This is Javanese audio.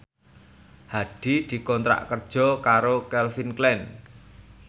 Hadi dikontrak kerja karo Calvin Klein